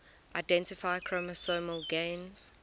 identify chromosomal gains